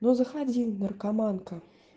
ну заходи наркоманка